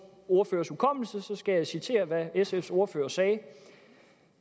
ordførers hukommelse skal jeg citere hvad sfs ordfører sagde